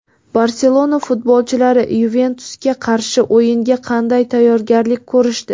"Barselona" futbolchilari "Yuventus"ga qarshi o‘yinga qanday tayyorgarlik ko‘rishdi?.